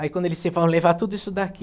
Aí quando ele disse, vão levar tudo isso daqui.